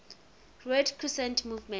red crescent movement